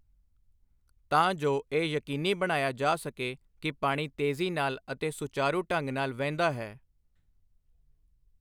ਤਾਂ ਜੋ ਇਹ ਯਕੀਨੀ ਬਣਾਇਆ ਜਾ ਸਕੇ ਕਿ ਪਾਣੀ ਤੇਜ਼ੀ ਨਾਲ ਅਤੇ ਸੁਚਾਰੂ ਢੰਗ ਨਾਲ ਵਹਿੰਦਾ ਹੈ।